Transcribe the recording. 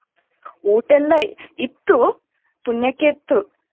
ಊಟ ಎಲ್ಲ ಇತ್ತು ಪುಣ್ಯಕ್ಕೆ ಇತ್ತು.